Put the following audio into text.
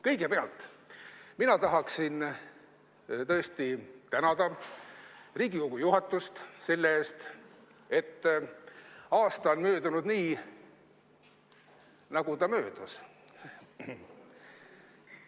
Kõigepealt mina tahaksin tõesti tänada Riigikogu juhatust selle eest, et aasta on möödunud nii, nagu ta möödus.